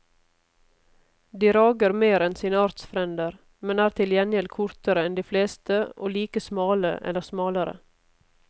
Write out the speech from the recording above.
De rager mer enn sine artsfrender, men er til gjengjeld kortere enn de fleste og like smale eller smalere.